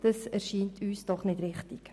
Das ist nicht richtig.